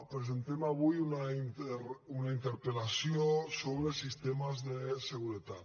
presentem avui una interpel·lació sobre sistemes de seguretat